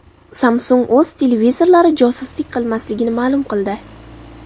Samsung o‘z televizorlari josuslik qilmasligini ma’lum qildi.